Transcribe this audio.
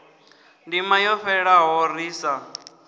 ndima yo fhelaho ri sa